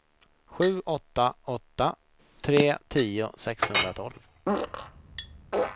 sju åtta åtta tre tio sexhundratolv